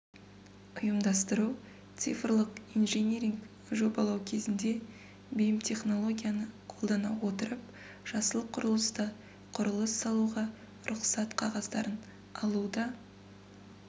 ұйымдастыру цифрлық инжиниринг жобалау кезінде бим-технологияны қолдана отырып жасыл құрылыста құрылыс салуға рұқсат қағаздарын алуда